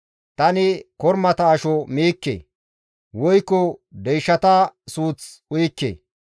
Tani kormata asho miikke; Woykko deyshata suuth uyikke.